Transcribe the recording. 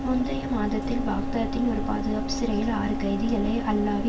முந்தைய மாதத்தில் பாக்தாத்தின் ஒரு பாதுகாப்பு சிறையில் ஆறு கைதிகளை அல்லாவி